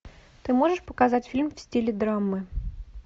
ты можешь показать фильм в стиле драмы